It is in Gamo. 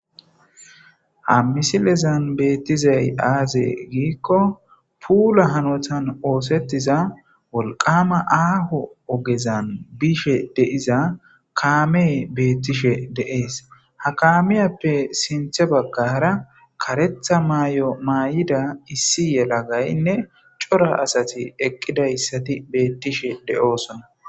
Ha misilezan beettizay aaze giikko puula hanotan oosettiza wolqama aaho ogezan bishe deiza kaame beettishe deees ha kaamiyappe sinthe bagga hara karetha maay'o maay'ida issi yelagaynne cora asati eqqidayssati beettishe de'oosona.